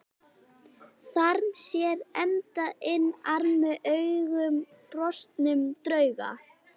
Þarm sér enda inn armi augum brostnum drauga.